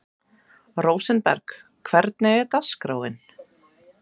Rósinberg, hvernig er dagskráin?